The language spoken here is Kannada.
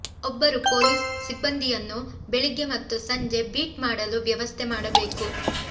ಒಬ್ಬರು ಪೊಲೀಸ್ ಸಿಬ್ಬಂದಿಯನ್ನು ಬೆಳಿಗ್ಗೆ ಮತ್ತು ಸಂಜೆ ಬೀಟ್ ಮಾಡಲು ವ್ಯವಸ್ಥೆ ಮಾಡಬೇಕು